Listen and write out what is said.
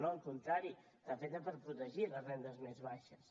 no al contrari està feta per protegir les rendes més baixes